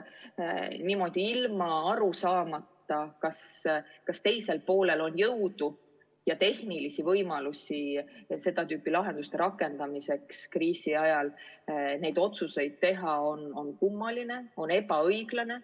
Niimoodi otsustada, ilma aru saamata, kas teisel poolel on jõudu ja tehnilisi võimalusi, et seda tüüpi lahendusi kriisi ajal rakendada, on kummaline, on ebaõiglane.